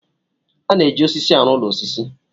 A na-eji osisi rụọ ụlọ osisi.